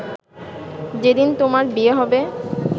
যে দিন তোমার বিয়ে হবে